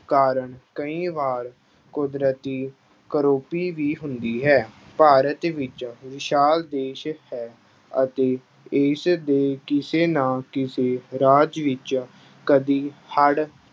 ਕਾਰਨ ਕਈ ਵਾਰ ਕੁਦਰਤੀ ਕਰੋਪੀ ਵੀ ਹੁੰਦੀ ਹੈ ਭਾਰਤ ਵਿੱਚ ਵਿਸ਼ਾਲ ਦੇਸ ਹੈ ਅਤੇ ਇਸ ਦੇ ਕਿਸੇ ਨਾ ਕਿਸੇ ਰਾਜ ਵਿੱਚ ਕਦੇ ਹੜ੍ਹ